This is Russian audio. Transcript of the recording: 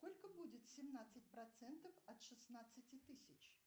сколько будет семнадцать процентов от шестнадцати тысяч